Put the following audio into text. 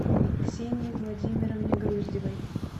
ксении владимировне груздевой